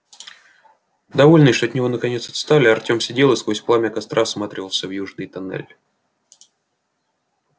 довольный что от него наконец отстали артем сидел и сквозь пламя костра всматривался в южный туннель